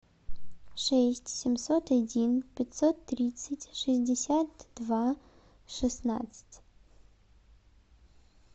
шесть семьсот один пятьсот тридцать шестьдесят два шестнадцать